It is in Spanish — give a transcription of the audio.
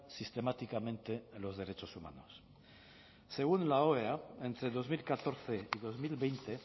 sistemáticamente los derechos humanos según la oea entre dos mil catorce y dos mil veinte